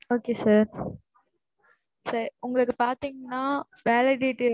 okay, sir sir உங்களுக்கு பார்த்தீங்கன்னா validity